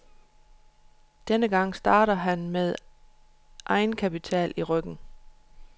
Denne gang starter han med egenkapital i ryggen.